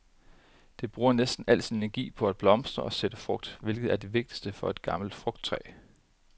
Det bruger næsten al sin energi på at blomstre og sætte frugt, hvilket er det vigtigste for et gammelt frugttræ.